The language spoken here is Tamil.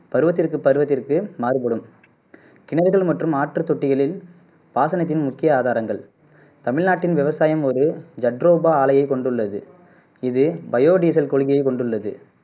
பருவத்திற்கு பருவத்திற்கு மாறுபடும் கிணறுகள் மற்றும் ஆற்று தொட்டிகலே பாசனத்தின் முக்கிய ஆதாரங்கள் தமிழ்நாட்டின் விவசாயம் ஒரு ஜட்ரோபா ஆலையை கொண்டுள்ளது இது பையோ டீசல் கொள்கையை கொண்டுள்ளது